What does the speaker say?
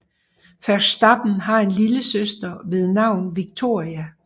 Verstappen har en lille søster ved navn Victoria